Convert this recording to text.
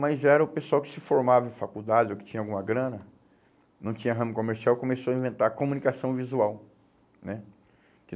Mas era o pessoal que se formava em faculdade ou que tinha alguma grana, não tinha ramo comercial, começou a inventar a comunicação visual, né?